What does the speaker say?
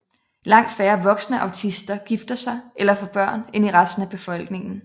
Langt færre voksne autister gifter sig eller får børn end i resten af befolkningen